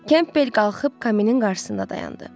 Kempbel qalxıb kaminin qarşısında dayandı.